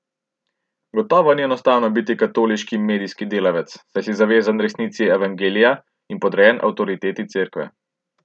Gotovo ni enostavno biti katoliški medijski delavec, saj si zavezan resnici Evangelija in podrejen avtoriteti Cerkve.